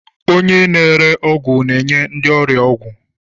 Onye na-ere ọgwụ na-enye ndị ọrịa ọgwụ.